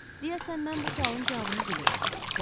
Deyəsən mən bu sualın cavabını bilirəm.